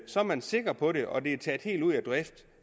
så er man sikker på det og det er taget helt ud af drift